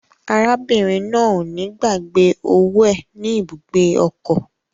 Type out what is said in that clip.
Arábìnrin náà o ni gbàgbé owó è ní ibùgbé ọkọ.